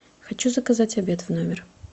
хочу заказать обед в номер